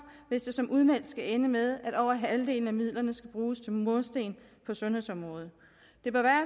hvis det som udmeldt skal ende med at over halvdelen af midlerne skal bruges til mursten på sundhedsområdet det bør være